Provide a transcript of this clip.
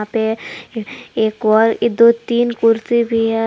पे ए एक और दो तीन कुर्सी भी है।